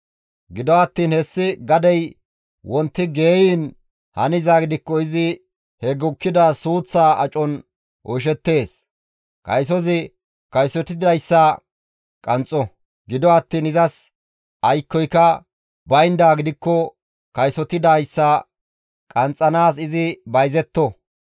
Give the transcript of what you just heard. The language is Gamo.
Gido attiin hessi gadey wonti geyiin hanizaa gidikko izi he gukkida suuththaa acon oyshettees. Kaysozi kaysotidayssa qanxxo; gido attiin izas aykkoyka bayndaa gidikko kaysotidayssa qanxxanaas izi bayzetto.